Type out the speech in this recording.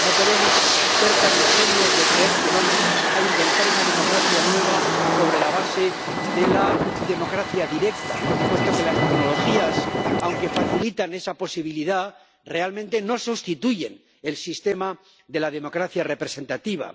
No podemos ser tan ingenuos de creer que vamos a inventar una democracia nueva sobre la base de la democracia directa, puesto que las tecnologías, aunque facilitan esa posibilidad, realmente no sustituyen al sistema de la democracia representativa.